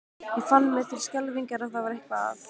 Ég fann mér til skelfingar að það var eitthvað að.